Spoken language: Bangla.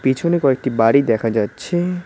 পিছনে কয়েকটি বাড়ি দেখা যাচ্ছে।